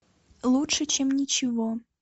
лучше чем ничего